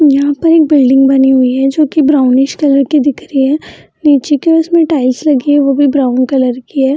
यहां पर एक बिल्डिंग बनी हुई है जो की ब्राउंस कलर की दिख रही है नीचे की ओर इसमें टाइल्स लगी हुई है वो भी ब्राउन कलर की है।